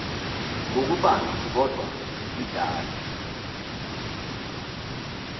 ngokubanzi kodwa idala